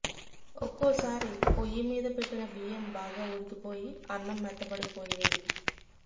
ఒక్కోసారి పొయ్యి మీద పెట్టిన బియ్యం బాగా ఉడికిపోయి అన్నం మెత్తబడిపోయేది